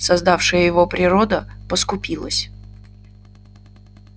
создавшая его природа поскупилась